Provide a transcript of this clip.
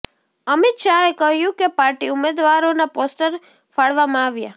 અમિત શાહે કહ્યું કે પાર્ટી ઉમેદવારોના પોસ્ટર ફાડવામાં આવ્યા